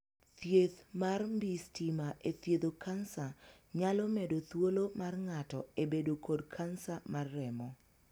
Thieth mar mbii stima e thiedho kansa nyalo medo thuolo mar ng'ato e bedo kod kansa mar remo.